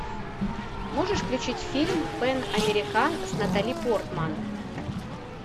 можешь включить фильм пэн американ с натали портман